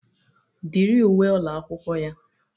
Dịrị uwe ụlọ akwụkwọ ya.